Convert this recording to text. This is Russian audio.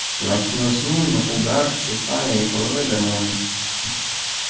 а в ночную смену угар тщеславие и половые гормоны